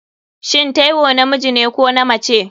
shin Taiwo namijine ko namace?